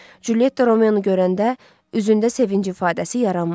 Culyetta Romeonu görəndə üzündə sevinc ifadəsi yaranmadı.